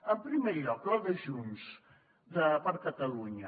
en primer lloc la de junts per catalunya